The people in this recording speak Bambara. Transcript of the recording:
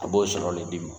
A b'o sɔrɔ le d'i ma